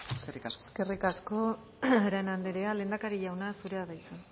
eskerrik asko eskerrik asko arana andrea lehendakari jauna zurea da hitza